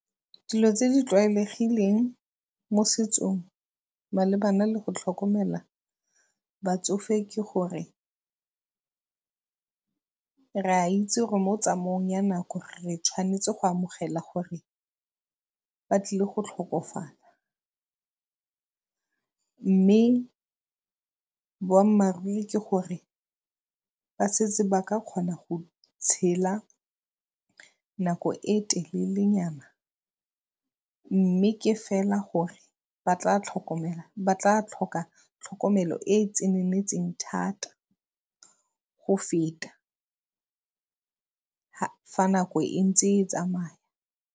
Dilo tse di tlwaelegileng mo setsong malebana le go tlhokomela batsofe ke gore re a itse gore mo tsamaong ya nako re tshwanetse go amogela gore ba tlile go tlhokafala, mme boammaaruri ke gore ba setse ba aka kgona go tshela nako e telele nyana mme ke fela gore ba tla tlhoka tlhokomelo e e tseneletseng thata go feta fa nako e ntse e tsamaya.